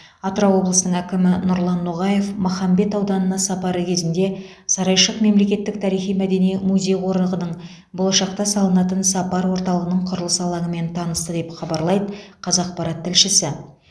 атырау облысының әкімі нұрлан ноғаев махамбет ауданына сапары кезінде сарайшық мемлекеттік тарихи мәдени музей қорығының болашақта салынатын сапар орталығының құрылыс алаңымен танысты деп хабарлайды қазақпарат тілшісі